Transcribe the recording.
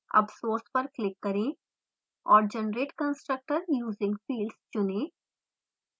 अब source> पर click करें औरgenerate constructor using fields चुनें